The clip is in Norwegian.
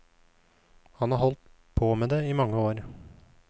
Han har holdt på med det i mange år.